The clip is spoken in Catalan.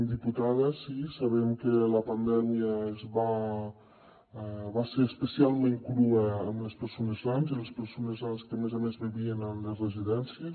diputada sí sabem que la pandèmia va ser especialment crua amb les persones grans i les persones grans que a més a més vivien en les residències